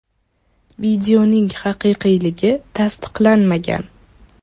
Videoning haqiqiyligi tasdiqlanmagan.